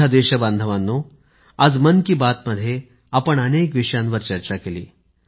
माझ्या देशबांधवांनो आज मन की बात मध्ये आपण अनेक विषयांवर चर्चा केली